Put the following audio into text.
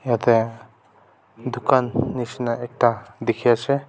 yatte dukan nishna ekta dekhi ase.